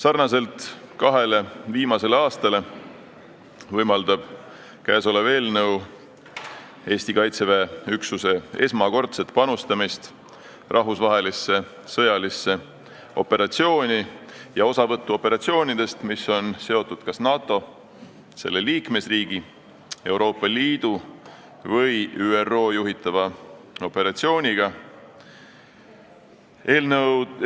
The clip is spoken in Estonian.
Nagu kahel viimasel aastal, võimaldab see eelnõu seaduseks saamise korral Eesti Kaitseväel panustada oma üksusega rahvusvahelisse sõjalisse operatsiooni, mis on seotud kas NATO, selle liikmesriigi, Euroopa Liidu või ÜRO juhitava operatsiooniga esmakordselt.